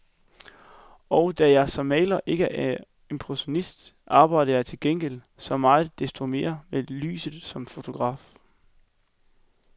Og da jeg som maler ikke er impressionist, arbejder jeg til gengæld så meget desto mere med lyset som fotograf.